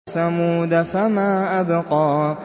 وَثَمُودَ فَمَا أَبْقَىٰ